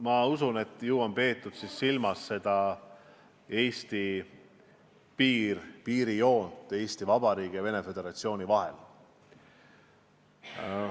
Ma usun, et ju on peetud silmas piirijoont Eesti Vabariigi ja Venemaa Föderatsiooni vahel.